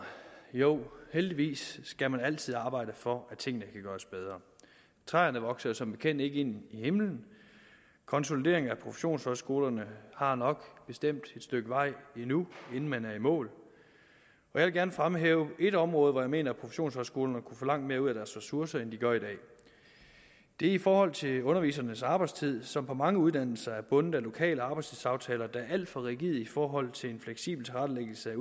jo heldigvis skal man altid arbejde for at tingene kan gøres bedre træerne vokser jo som bekendt ikke ind i himlen og konsolideringen af professionshøjskolerne har nok bestemt et stykke vej endnu inden man er i mål jeg vil gerne fremhæve ét område hvor jeg mener at professionshøjskolerne kunne få langt mere ud af deres ressourcer end de gør i dag og det er i forhold til undervisernes arbejdstid som på mange uddannelser er bundet af lokale arbejdstidsaftaler der er alt for rigide i forhold til en fleksibel tilrettelæggelse af